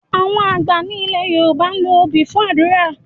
Àwọn àgbà ní ilẹ̀ Yorùbá ń lo obì fún àdúrà.